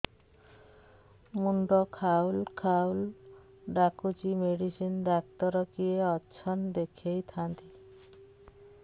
ମୁଣ୍ଡ ଖାଉଲ୍ ଖାଉଲ୍ ଡାକୁଚି ମେଡିସିନ ଡାକ୍ତର କିଏ ଅଛନ୍ ଦେଖେଇ ଥାନ୍ତି